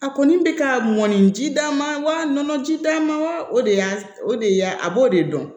A kɔni bɛ ka mɔnni ji d'a ma wa nɔnɔ ji d'a ma wa o de y'a o de y'a a b'o de dɔn